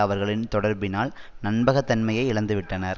அவர்களின் தொடர்பினால் நம்பகத்தன்மையை இழந்துவிட்டனர்